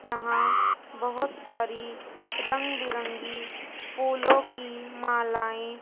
यहां बहोत सारी रंग बिरंगी फूलों की मालाएं --